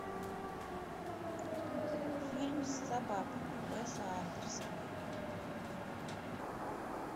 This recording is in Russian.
фильм с собаками уэса андерса